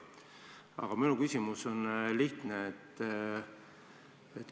Aga minu küsimus on lihtne.